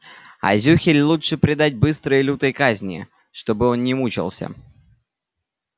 а зюхель лучше предать быстрой и лютой казни чтобы он не мучался